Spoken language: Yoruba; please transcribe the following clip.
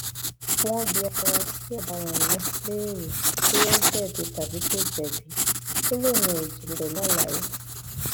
wọn bi afurasí ọdaràn náà léèrè bóyá ó jẹbi tàbí kò jẹbi ó lóun ò jẹbi pẹlú àlàyé